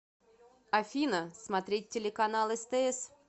афина смотреть телеканал стс